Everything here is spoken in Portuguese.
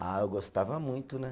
Ah, eu gostava muito, né?